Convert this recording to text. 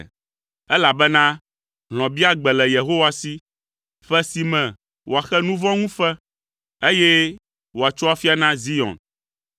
elabena hlɔ̃biagbe le Yehowa si, ƒe si me wòaxe nu vɔ̃ ŋu fe, eye wòatso afia na Zion.